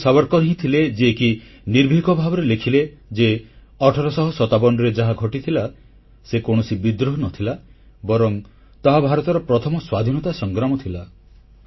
ସେ ବୀର ସାବରକର୍ ହିଁ ଥିଲେ ଯିଏକି ନିର୍ଭୀକ ଭାବରେ ଲେଖିଲେ ଯେ 1857ରେ ଯାହା ଘଟିଥିଲା ସେ କୌଣସି ବିଦ୍ରୋହ ନ ଥିଲା ବରଂ ତାହା ଭାରତର ପ୍ରଥମ ସ୍ୱାଧୀନତା ସଂଗ୍ରାମ ଥିଲା